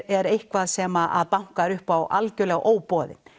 er eitthvað sem bankar upp á algjörlega óboðin